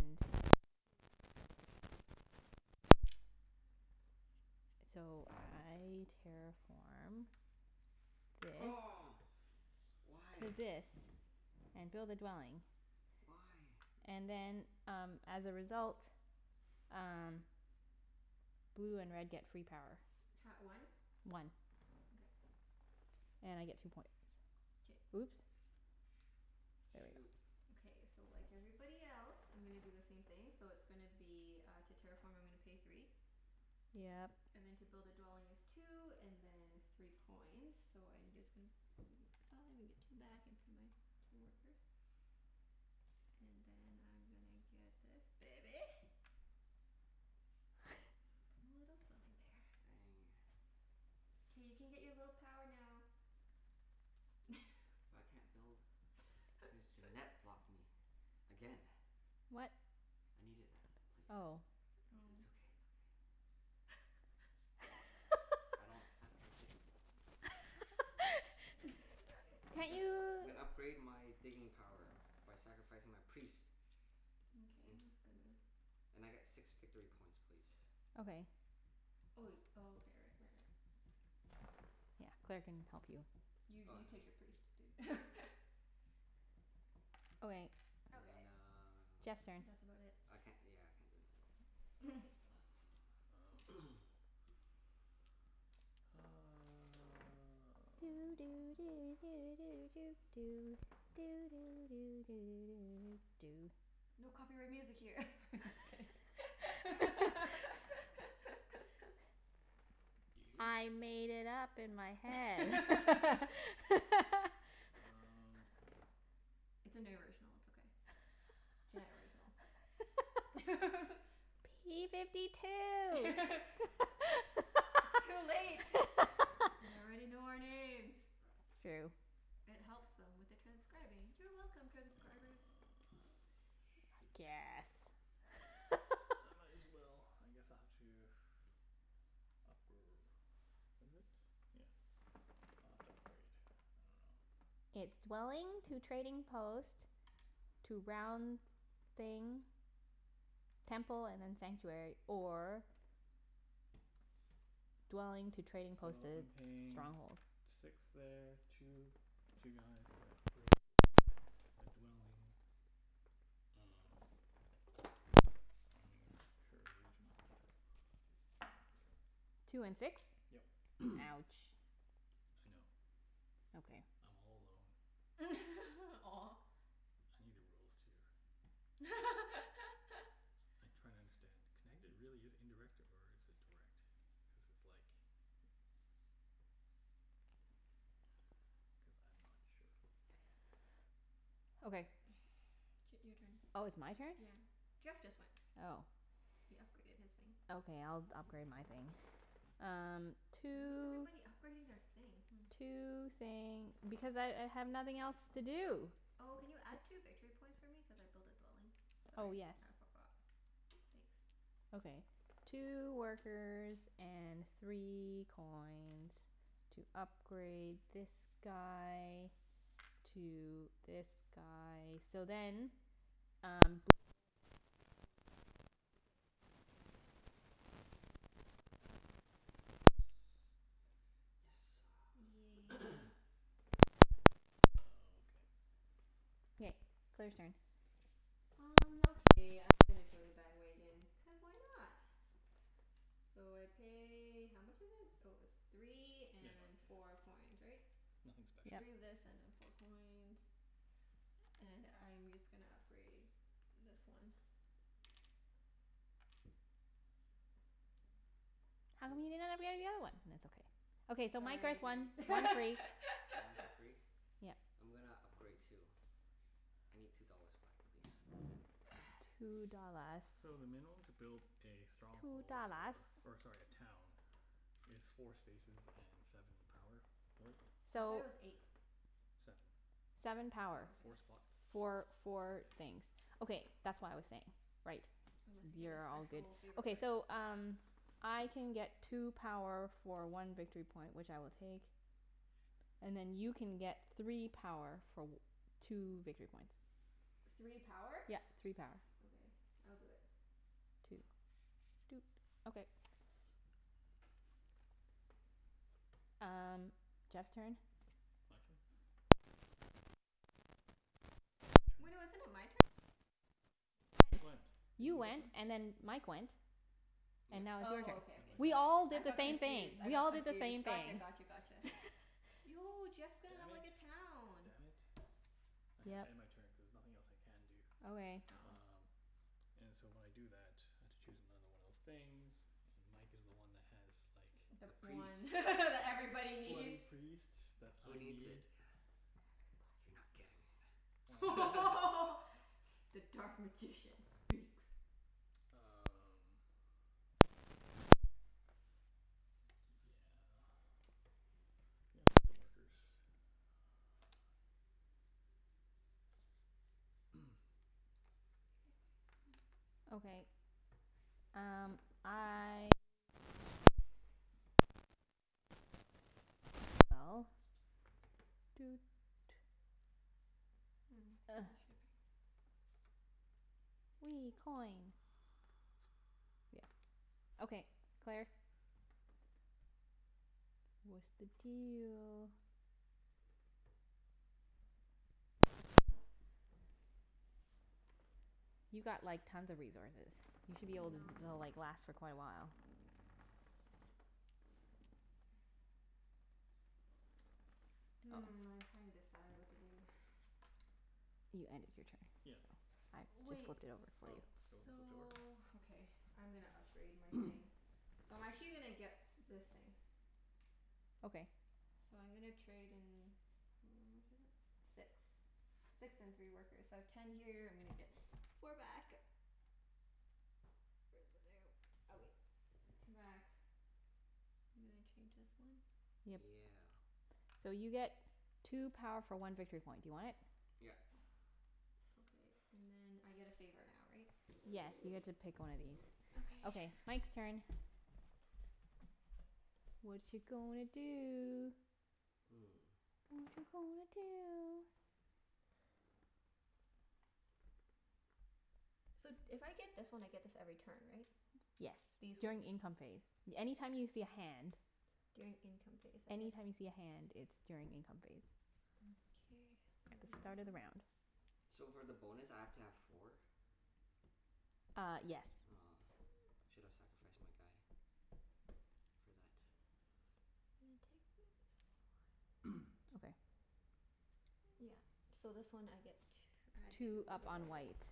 and two, so I get three back. So I terraform this Oh, to why? this and build a dwelling. Why? And then um as a result um blue and red get free power. Ha- one? One. Okay. And I get two points. K. Oops. There we go. Shoot. Okay, so like everybody else I'm gonna do the same thing. So it's gonna be uh, to terraform I'm gonna pay three. Yep. And then to build a dwelling is two, and then three coins. So I'm just gon- Five, and get two back, and pay my two workers. And then I'm gonna get this baby. Put a little dwelling there. Dang. K, you can get your little power now. I can't build cuz Junette blocked me again. What? I needed that place. But it's Oh. okay, it's Oh. okay. I don't, I I can't I'm Can't gonna you I'm gonna upgrade my digging power by sacrificing my priest. Mkay, And that's good move. and I get six victory points please. Okay. Oh wai- oh, okay, right, right, right. Yeah. Claire can help you. You Oh, you take yeah. your priest, dude. Okay. Okay. And uh, Jeff's turn. That's about it. I can't, yeah, I can't do anything. Um Doo doo do do do doo doo. Doo doo do do do doo doo doo. No copyright music here. I'm just kidding. Do you? I made it up in my head. Um It's an original. It's okay. Junette original. P fifty two. It's too late. They already know our names. It's true. It helps them with the transcribing. You're welcome, transcribers. Ah, shoot. Guess. I might as well, I guess I'll have to Upgr- is it? Yeah. I'll have to upgrade. I dunno. It's dwelling to trading post to round thing Temple and then sanctuary. Or dwelling to trading post So to I'm paying stronghold. six there. Two, two guys at gray. A dwelling. Um, I don't even know. Sure, the original. Two and six? Yep. Ouch. I know. Okay. I'm all alone. Aw. I need the rules, too. I'm trying to understand. Can I g- really use indirect, or is it direct? Cuz it's like Cuz I'm not sure. Okay. Ch- your turn. Oh, it's my turn? Yeah. Jeff just went. Oh. He upgraded his thing. Okay, I'll d- upgrade my thing. Um Why is two everybody upgrading their thing? Hmm. two thing. Because I I have nothing else to do. Oh, can you add two victory points for me? Cuz I built a dwelling. Oh, Sorry, yes. I forgot. Thanks. Okay. Two workers and three coins. To upgrade this guy to this guy. So then um blue and Oh. red gets two, like you get one power free. Me? Blue red. Yes. Yes sir. Yay. Oh, okay. K. Claire's turn. Um okay, I'm gonna join the bandwagon, cuz why not? So I pay, how much is it? Oh, it's three Yeah, and no four coins, yeah, right? nothing special. Three Yep. of this and then four coins. And I'm just gonna upgrade this one. How come Poo. you didn't upgrade the other one? It's okay. Okay, so Mike Sorry gets one. dude. One three One for free? Yep. I'm gonna upgrade too. I need two dollars back please. Two dollars. So the minimum to build a Two stronghold dollars. or, or sorry, a town is four spaces and seven power worth. I So thought it was eight. Seven. Seven Oh, power. Four okay. spots. Okay. Four four things. Okay, that's what I was saying. Right. Unless you get a You're all good. special favor Okay, card. so um I can get two power for one victory point, which I will take. And then you can get three power for w- two victory points. Three power? Yep. Three power. Okay. I'll do it. Two. Doot. Okay. Um Jeff's turn. My turn? Um I God damn it, no, we ended a Wait, no, turn? isn't it my turn? Oh yeah, you You just went. went, didn't You you just went went? and then Mike went. And Yep. now it's your turn. Oh, Is okay, it okay, my We sorry. turn? all I did the got same thing. confused. I We got all did the confused. same Gotcha, thing. gotcha, gotcha. Yo, Jeff's gonna Damn have it. like a town. Damn it. I have to Yep. end my turn cuz nothing else I can do. Okay. Oh. Um And so when I do that, I have to choose another one of those things. And Mike is the one that has like the The The one priest. that everybody bloody needs. priest that Who I needs it? need. Everybody You're needs it. not getting it. The dark magician speaks. Um Yeah. Yeah, I'll get the workers. K. Okay, um I I will end my turn as well. Doot. Mm. shipping. Wee, coin. Yeah. Okay, Claire? What's the deal? You've got like tons of resources. You should be I able to know. l- like last for quite a while. Hmm, I'm trying to decide what to do. You ended your turn. Yeah. I just Wait. flipped it over for Oh, you. you want them flipped over? So, okay, I'm gonna upgrade my thing. So I'm actually gonna get this thing. Okay. So I'm gonna trade in, how much is it? Six. Six and three workers. So I have ten here. I'm gonna get four back. Where's the damn, okay, two back. I'm gonna change this one. Yep. Yeah. So you get two power for one victory point. Do you want it? Yep. Okay. And then I get a favor now, right? Yes, you get to pick one of these. Okay, Okay. Mike's turn. Watcha gonna do? Hmm. Watcha gonna do? So if I get this one I get this every turn, right? Yes. These ones. During income phase. Any time you see a hand During income phase. Okay. Any time you see a hand it's during income phase. Mkay. At the Where start am I? of the round. So for the bonus I have to have four? Ah, yes. Aw, should have sacrificed my guy. For that. I'm gonna take this one. Okay. Yeah. So this one I get tw- add Two two up over on there. white.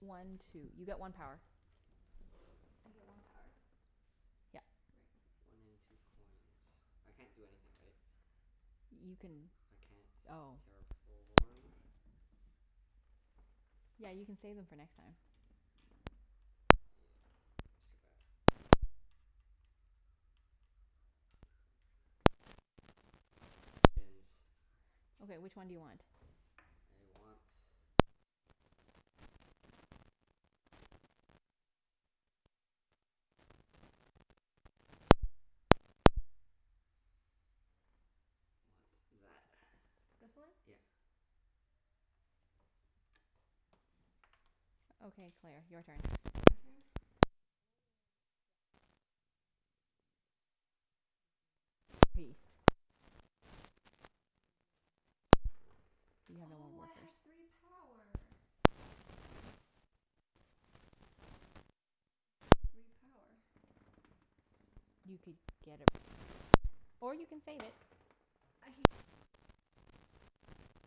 One two. You get one power. I get one power? Yep. Right. Okay. One in two coins. I can't do anything, right? You can, I can't oh. terraform. Yeah, you can save them for next time. Yeah, I still got Two for a priest. Yeah, no actions. Okay, which one do you want? I want Uh shit. Want that. This one? Yep. Okay, Claire. Your turn. It's my turn? Am I the only one left? Yep. Oh, okay. Which means you'd get the priest, or Yes. you can continue doing stuff. You have no Oh, more I have three power. Hmm. What can I do with three power? You could get a priest. Or you can save it. I can get a priest. And you Hmm. get three power.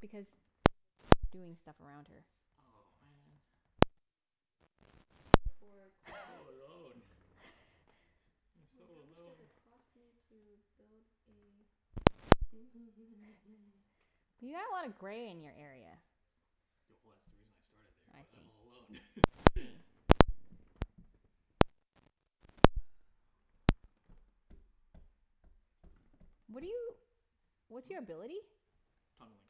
Because people kept doing stuff around her. Oh, man. Why can, can I trade power for I'm so coin? alone. I'm so Wait, how much does alone. it cost me to build a You have a lotta gray in your area. Yeah, well that's the reason I started there, I but see. I'm all alone. What are you, what's Hmm? your ability? Tunneling.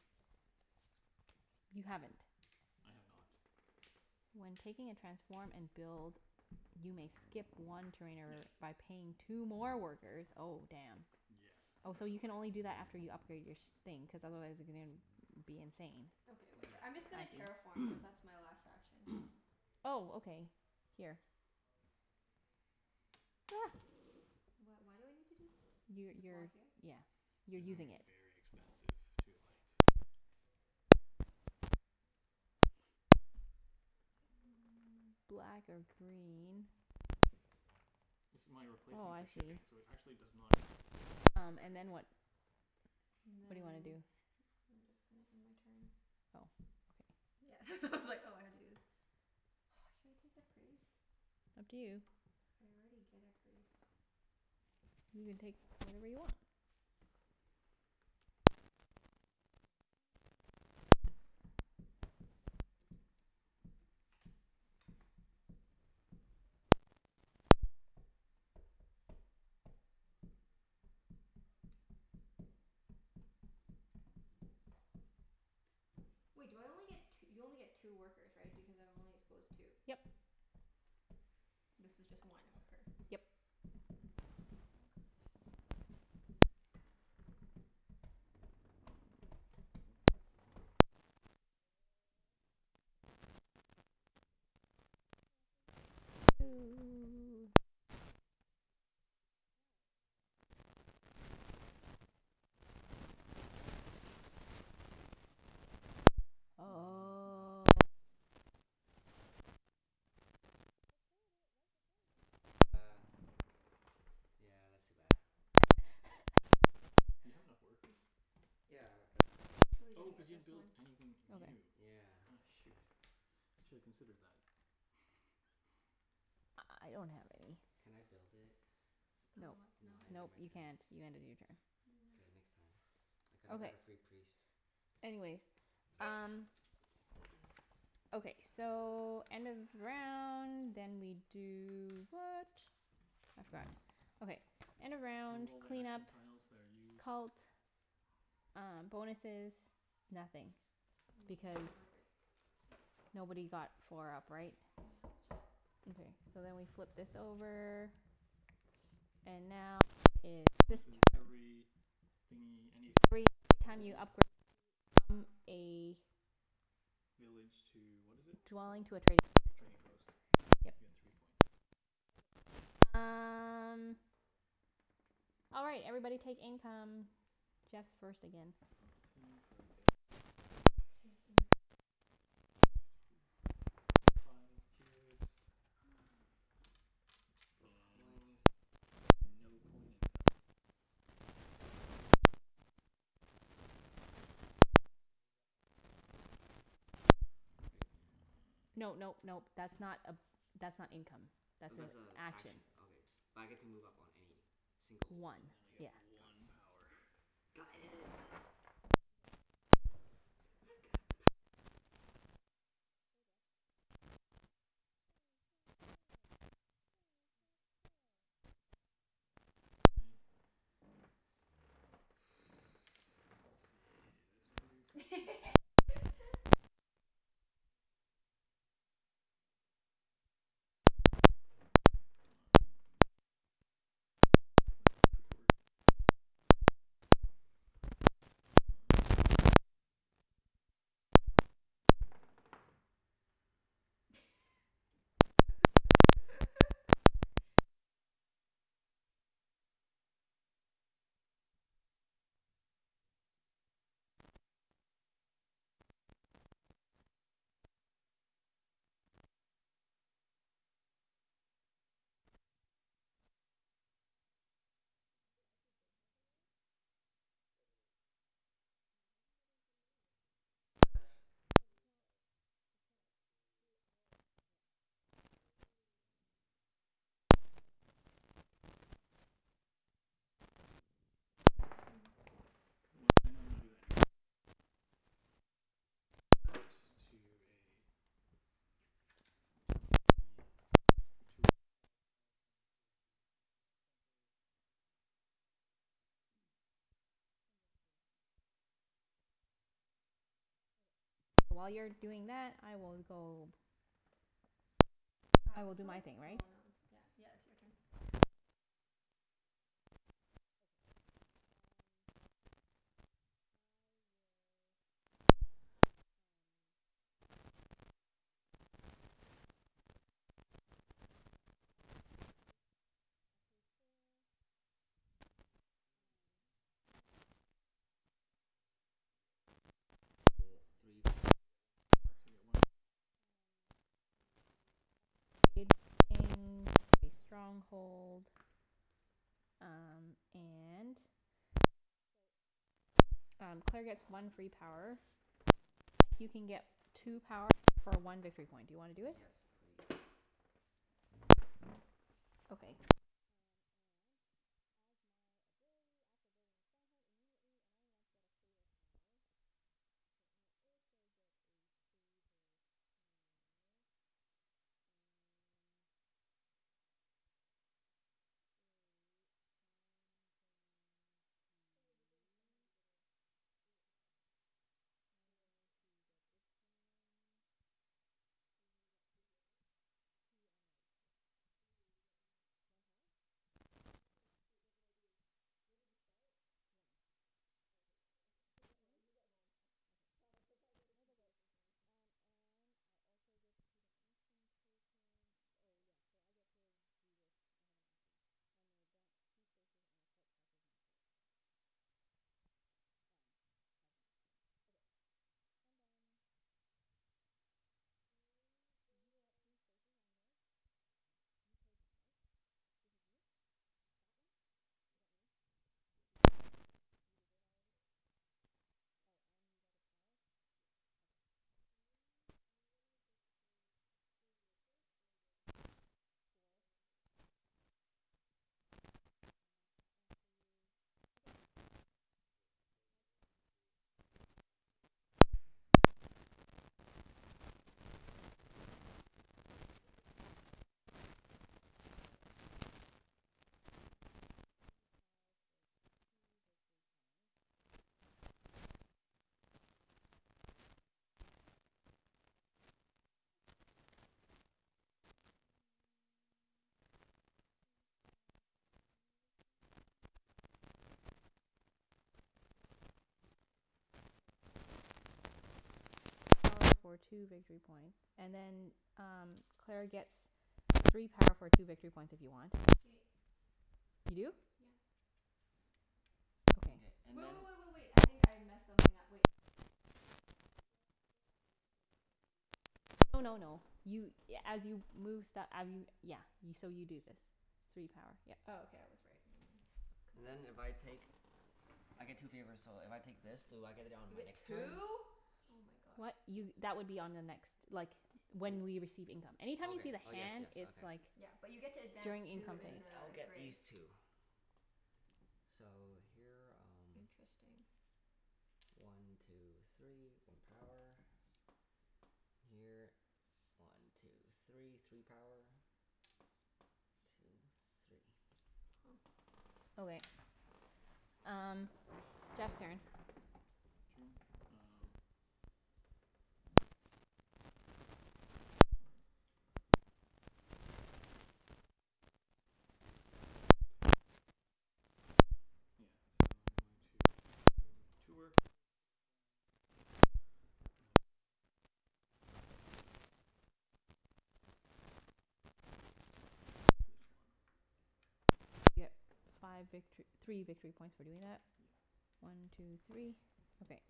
You haven't? I have not. When taking a transform and build you may skip one trainer Yeah. by paying two more workers. Oh, damn. Yeah, Oh, so so you like can only do that after you upgrade your sh- thing, cuz otherwise you're gonna be insane. Okay, whatever. I'm I just gonna see. terraform cuz that's my last action. Oh, okay. Here. Wh- why do I need to do this? You To block you're, here? yeah, you're It's Okay. gonna be using it. very expensive to like Black or green. This is my Oh, replacement for I see. shipping so it actually does not connect n- Um and then directly. what? And What do you wanna then do? I'm just gonna do my turn. Oh, okay. Yeah it's all I had to do. Should I take the priest? Up to you. I already get a priest. You can take whatever you want. Whatever you want. Wait do I only get t- you only get two workers, right? Because I've only exposed two. Yep. This was just one worker. Yep. Oh gosh. Watcha gonna do? Oh, mother, I should not have ended my turn. Why? Why? I could've built this thing. How? With two and five. He didn't have Oh. enough But Yeah. money. Claire Shoot. I didn't see that. did It's it okay. It's okay. right before you. Yeah. Yeah, that's too bad. You have enough workers? Yeah, I got K, two I'm guys. actually Oh, gonna cuz get you didn't this build one. anything new. Okay. Yeah. Aw shoot, you shoulda considered that. I I I don't have any. Can I build it? Build Nope. what? No, No. I ended Nope, my you turn. can't. You ended your turn. K, No. next time. I coulda got Okay. a free priest. Anyways, um Okay, so end of round, then we do what? I've forgotten. Okay, end of Remove round all the clean up action tiles that are used Cult, uh bonuses, nothing. Mm yeah, I think Because we're good. nobody got four up, right? Yeah. Okay, so then we flip this over. And now it The is this bonus is turn every thingie, Every any every time you city? upgrade to, from a Village to, what is it Dwelling called? to a trading post. Trading post. You Yep. get three points. Okay. Um All right. Everybody take income. Jeff's first again. Okay, so I get t- Take income. one two three, I get five cubes. Four And coins. no coin income. Oh wait, no I do. I get three coins. Okay. And I get Sweet. to move up on any cult. Great. No nope nope. That's not a, that's not income. Oh, That's an that's a action. action. Okay. But I get to move up on any single one, One, And then I right? yeah. get Got it. one power. Got it. Okay. I've got the power. Go Jeff. Go Ah, Jeff go. Go shoot. Jeff If go. I let's see. This can do first patrol. Temple would be that much. Five and then I got three workers left. Um I'm still one short. Mm, I'm not gonna Has it gi- actually been half an hour? Forty minutes. Oh. How come they didn't come down yet? Ah, it's two Cuz twelve. it's It's not not, two Two it's hours not, yet. yeah. Oh. Um Oh, okay. It's almost two hours I guess. Oh, it's so hot in here. Well, I know I'm gonna do that anyways, so I will um change that to a temple thingie. Two wor- five five coins, two workers. This is now a temple. And you get a favor tile. And I get a favor tile. Okay. So while you're doing that, I will go I Wow, will it's do so my like, thing, right? oh not, yeah, yeah. It's your turn. Okay. Um I will, um yeah, I'll When you do, upgrade I'll pay four Can you move me up two on the brown track? and six Or or Brown track. yeah. Yeah You are yeah. o- three four. So you get one power. So you get one power. Sweet. um to upgrade my thing to a stronghold. Um and so um Claire gets one free power. And then Mike, you can get two power for one victory point. Do you wanna do it? Yes please. Okay. Um and as my ability after building a stronghold immediately, and only once, get a favor tile. So I also get a favor tile. Um So I'm going to Oh, when you build a stronghold you get a favorite tile. I'm One going time. I to see. get this one. So you move up two here, right? Two on white, Ooh, you get yeah. one One power? Oh, shoot, shoot. What did I do? Where did you start? One. I Oh okay, yeah, yeah. Okay get thr- one? yeah, you get one power. Okay. Sorry, I got really confused for some reason. Um and I also get to take an action token. Oh yes, so I get to do this. I have an action. I may advance two spaces on a cult track of my choice. Um as an action. Okay, I'm done. I'm Did you gonna go up two spaces on yours? Hmm? You chose one, right? This is new? That one? Yeah Is that yeah. new? Did Oh oh y- yeah, I you did. did it already? Well, Mike did for me. Yep. Oh, and you got Yes. the power? Okay. I'm I'm gonna get the two workers for the Three. four, yeah. Four? Okay. I'll mark that off for you. Okay. K, I build Mike's mine turn. into a monolith. Okay, Is that what it's so called? no, it's a temple. Um so I can get three power for two victory points. Three power for two victory points? And I get two favors. Sure. Three power for two victory points. And then um Claire gets three power for two victory points if you want. K. You do? Yep. Mkay, Okay. and Wait, then wait, wait, wait, wait. I think I messed something up. Wait. If I use them do I ha- this has to be in here before I can do this, right? No no no, you a- as you move st- I mean, yeah. So you do this. Three power. Yep. Oh, okay, I was right. Never mind. And then if I take, I get two favors, so if I take this do I get it on You my get next turn? two? Oh my gosh. What? D- Y- that would be on the next, like, W- when we receive income. Okay. Anytime you see the Oh yes, hand yes. it's Okay. like Yeah, but you get to advance during Mkay. income two in phase. I'll the get gray. these two. So, here um Interesting. One two three. One power. Here. One two three. Three power. Two three. Huh. Okay. Um Jeff's turn. My turn? Um Yeah, okay. Um I'm going to Pay two, yeah. So I'm going to two Two workers, six coins. And we'll create one of these. Um I dunno. This one. So you get five victor- three victory points for doing that. Yeah. One two three. Okay.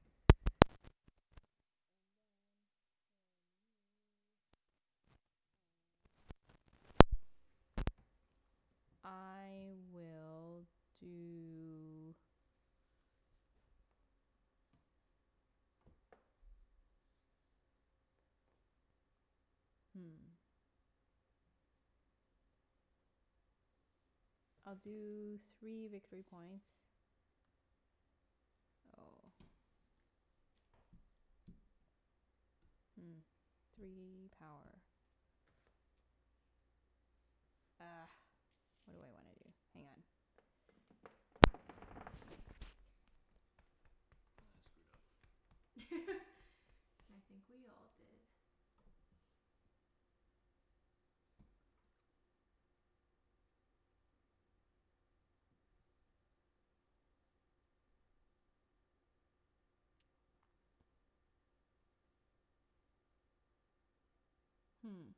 And then, for me um I will do Hmm. I'll do three victory points. Oh. Hmm, three power. Ah, what do I wanna do? Hang on. I screwed up. I think we all did. Hmm.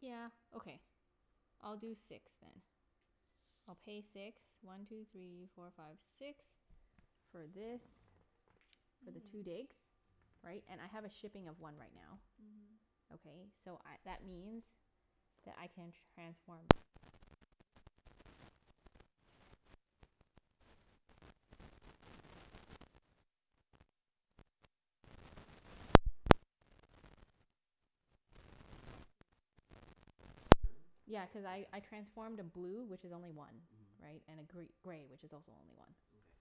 Yeah, okay. I'll do six then. I'll pay six. One two three four five six. For this. For the two Mm. digs. Right? And I have a shipping of one right now. Mhm. Okay, so I, that means that I can transform this, right? And Mhm. I can also transform this one. There. Two digs. Okay. Two digs. In one turn? Yeah, cuz I I Okay. transformed a blue, which is only one. Mhm. Right? And a gr- gray, which is also only one. Mkay.